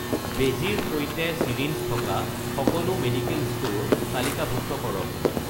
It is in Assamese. বেজীৰ সৈতে চিৰিঞ্জ থকা সকলো মেডিকেল ষ্ট'ৰ তালিকাভুক্ত কৰক